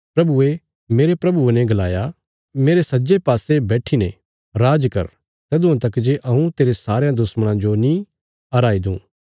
प्रभुये मेरे प्रभुये ने गलाया मेरे सज्जे पासे बैठीने राज कर तदुआं तक जे हऊँ तेरे सारयां दुश्मणां जो नीं हराई दूँ